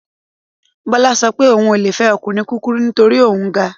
Bọ́lá sọ pé òun ò le fẹ́ ọkùnrin kúkurú nítorí òun ga